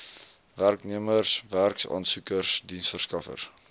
werknemers werksaansoekers diensverskaffers